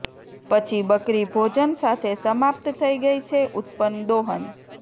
પછી બકરી ભોજન સાથે સમાપ્ત થઈ ગઈ છે ઉત્પન્ન દોહન